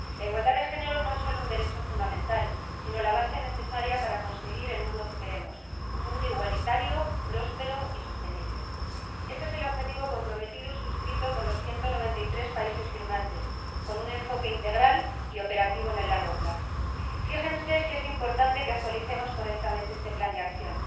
La igualdad de género no es solo un derecho fundamental, sino la base necesaria para conseguir el mundo que queremos un mundo igualitario, próspero y sostenible. Este es el objetivo al que se han comprometido y que han suscrito los 193 países firmantes, con un enfoque integral y operativo en el largo plazo. Fíjense si es importante que actualicemos correctamente este Plan de Acción